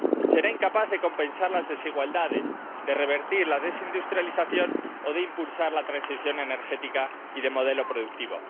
Será incapaz de compensar las desigualdades, de revertir la desindustrialización o de impulsar la transición energética y de modelo productivo.